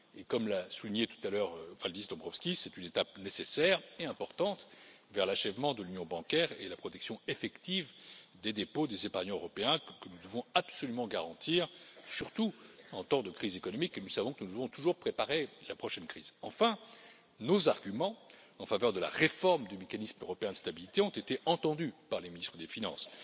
Comme l'a souligné tout à l'heure Valdis Dombrovskis, c'est une étape nécessaire et importante vers l'achèvement de l'union bancaire et la protection effective des dépôts des épargnants européens, que nous devons absolument garantir, surtout en temps de crise économique, et nous savons que nous devons toujours préparer la prochaine crise. Enfin, nos arguments en faveur de la réforme du mécanisme européen de stabilité ont été entendus par les ministres des finances.